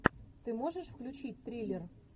ты можешь включить триллер